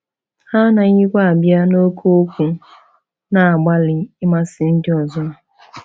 Ha anaghịkwa “abịa na oke okwu,” na-agbalị ịmasị ndị ọzọ.